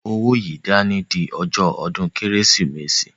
Mú owó yìí dání di ọjọ́ ọdún Kérésìmesì!